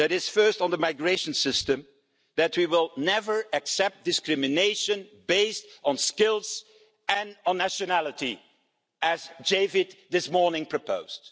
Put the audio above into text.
First, on the migration system, we will never accept discrimination based on skills and on nationality, as Javid this morning proposed.